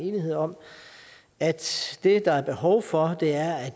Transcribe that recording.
enighed om at det der er behov for er at